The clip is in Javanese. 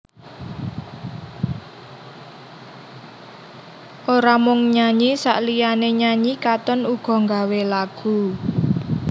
Ora mung nyanyi saliyané nyanyi Katon uga nggawé lagu